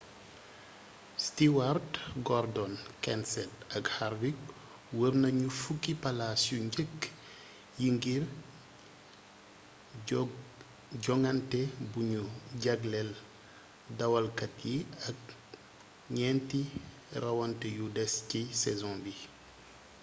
stewart gordon kenseth ak harvick wër nañu fukki palaas yu njëkk yi ngir jongante buñu jagleel dawalkat yi ak ñeenti rawante yu des ci saison bi